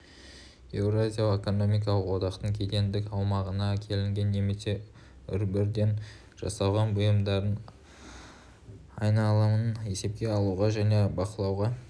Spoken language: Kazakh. еуразиялық экономикалық одақтың кедендік аумағына әкелінген немесе үлбірден жасалған бұйымдардың айналымын есепке алуға және бақылауға